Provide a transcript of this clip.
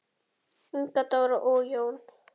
Inga Dóra og Jón.